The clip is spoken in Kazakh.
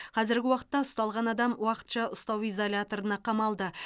қазіргі уақытта ұсталған адам уақытша ұстау изоляторына қамалды